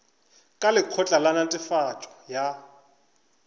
ka lekgotla la netefatšo ya